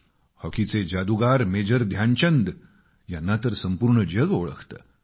हॉकीचे जादुगार मेजर ध्यानचंद यांना तर संपूर्ण जग ओळखते